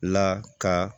La ka